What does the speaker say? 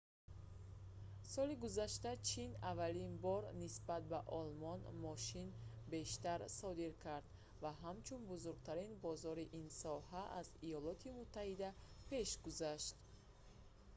соли гузашта чин аввалин бор нисбат ба олмон мошин бештар содир кард ва ҳамчун бузургтарин бозори ин соҳа аз иёлоти муттаҳида пеш гузашт